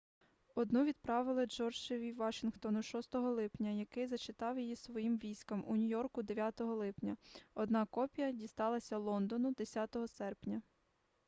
одну відправили джорджеві вашінгтону 6 липня який зачитав її своїм військам у нью-йорку 9 липня одна копія дісталася лондону 10 серпня